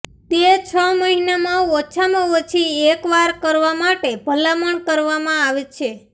તે છ મહિનામાં ઓછામાં ઓછી એક વાર કરવા માટે ભલામણ કરવામાં આવે છે